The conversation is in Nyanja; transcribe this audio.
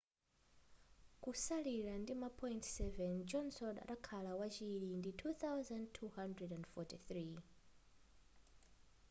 kusalira ndima point 7 johnson adakhala wachiri ndi 2,243